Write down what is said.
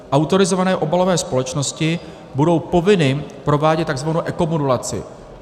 Autorizované obalové společnosti budou povinny provádět tzv. ekomodulaci.